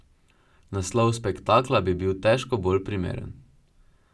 Naslov spektakla bi bil težko bolj primeren.